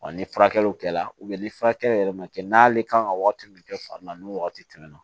Wa ni furakɛliw kɛra ni furakɛli yɛrɛ ma kɛ n'ale kan ka wagati min kɛ fari la ni wagati tɛmɛna